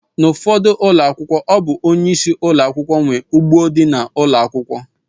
N’ufodu ụlọakwụkwọ ọ bụ onyeisi ụlọakwụkwọ nwe ugbo di n’ụlọ ụlọakwụkwọ